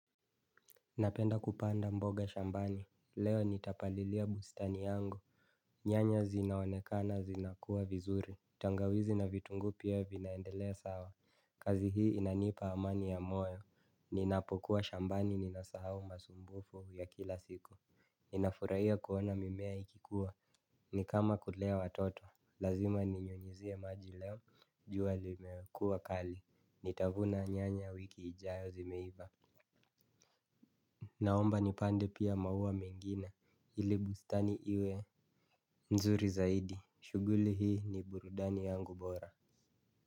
Napenda kupanda mboga shambani, leo nitapalilia bustani yangu. Nyanya zinaonekana zinakuwa vizuri, tangawizi na vitunguu pia vinaendelea sawa. Kazi hii inanipa amani ya moyo, ninapokuwa shambani ninasahau masumbuko ya kila siku. Ninafurahia kuona mimea ikikuwa, ni kama kulea watoto, lazima ninyunyuzie maji leo, jua limekuwa kali, nitavuna nyanya wiki ijayo zimeiva. Naomba nipande pia maua mengine ili bustani iwe nzuri zaidi shughuli hii ni burudani yangu bora.